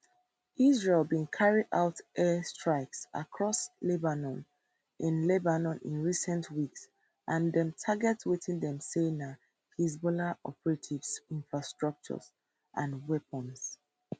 israel bin carry out air strikes across lebanon in lebanon in recent weeks and dem target wetin dem say na hezbollah operatives infrastructure and weapons